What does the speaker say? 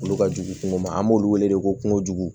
Olu ka jugu kungo ma an b'olu wele ko kungojugu